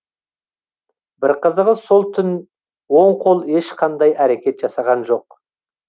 бір қызығы сол түн оң қол ешқандай әрекет жасаған жоқ